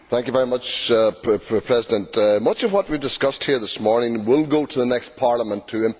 Mr President, much of what we have discussed here this morning will go to the next Parliament to implement.